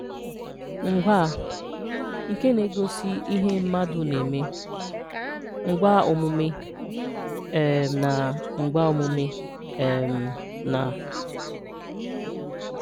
– Ngwaa nke na-egosi ihe mmadụ na-eme (ngwaaomume) um na (ngwaaomume) um na